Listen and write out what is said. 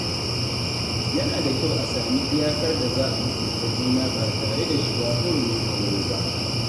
Yana da kyau a sami iyakar da za a mutunta juna ba tare da shiga hurumin aure ba.